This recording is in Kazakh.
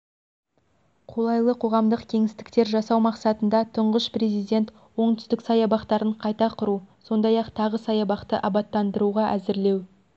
қолайлы қоғамдық кеңістіктер жасау мақсатында тұңғыш президент оңтүстік саябақтарын қайта құру сондай-ақ тағы саябақты абаттандыруға әзірлеу